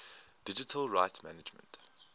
digital rights management